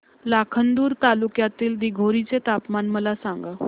लाखांदूर तालुक्यातील दिघोरी चे तापमान मला सांगा